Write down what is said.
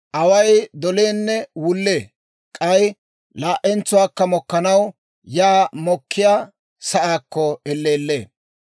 Away doleenne wullee; k'ay laa"entsuwaakka dolanaw yaa doliyaa sa'aakko elleellee.